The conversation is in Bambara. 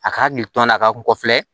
A ka hakili to an na a ka kɔfilɛ